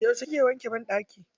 Yauce kika wanke banɗakin?